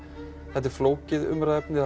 þetta er flókið umræðuefni það